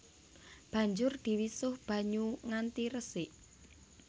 Banjur diwisuh banyu nganti resik